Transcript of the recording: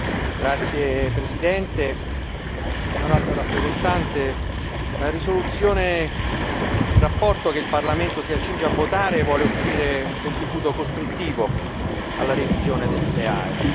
Signor Presidente, signor Alto rappresentante, onorevoli colleghi, il rapporto che il Parlamento si accinge a votare vuole offrire un contributo costruttivo alla revisione del SEAE.